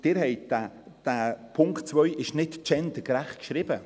Dieser Punkt 2 ist nicht gendergerecht geschrieben.